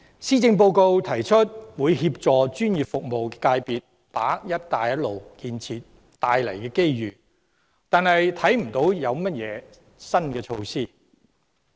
施政報告提出會協助專業服務界別把握"一帶一路"建設帶來的機遇，但我卻看不到有任何新措施。